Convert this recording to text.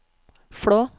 Flå